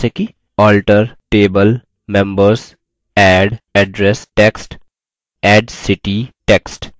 alter table members add address text add city text